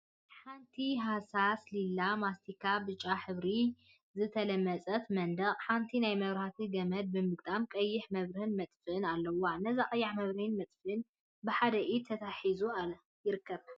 ኣብ ሃሳስ ሊላ፣ ማስቲካን ብጫ ሕብራዊን ሕብሪ ዝተለመጸ መንደቅ ሓንቲ ናይ መብራህቲ ገመድ ብምግጣም ቀይሕ መብርሂን ምጥፍእን ኣለዋ። ነዛ ቀያሕ መብርሂን ምጥፊእን ብሓደ ኢድ ተታሒዙ ይርከብ።